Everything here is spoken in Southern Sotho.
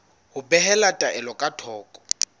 ho behela taelo ka thoko